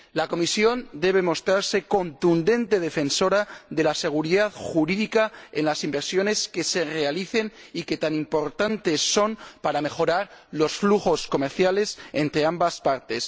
La Comisión debe mostrarse contundente defensora de la seguridad jurídica en las inversiones que se realicen y que tan importantes son para mejorar los flujos comerciales entre ambas partes.